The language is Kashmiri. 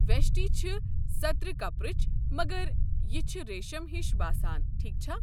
ویشٹی چھِ سترِ کپرٕچ، مگر یہِ چھِ ریٖشم ہِش باسان، ٹھیٖکھ چھا؟